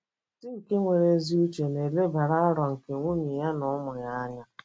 Di nke nwere ezi uche na - elebara aro nke nwunye na ụmụ ya anya